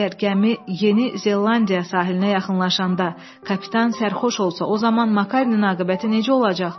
Əgər gəmi Yeni Zelandiya sahilinə yaxınlaşanda kapitan sərxoş olsa, o zaman Makarenin aqibəti necə olacaq?